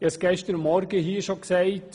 Ich sagte es bereits gestern Morgen: